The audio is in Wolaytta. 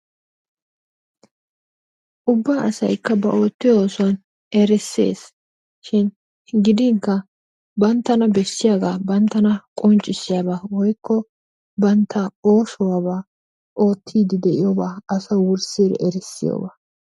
Ubba asaykka ba oottiyoo oosuwaa erisseesishin gidinkka banttana beesiyaaga banttana qonccisiyaaba woykko bantta oosuwaaba ottiidi de'iyoobaa asaa wurssi erissiyaaba.